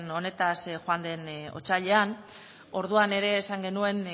honetaz joan den otsailean orduan ere esan genuen